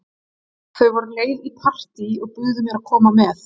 Þau voru á leið í partí og buðu mér að koma með.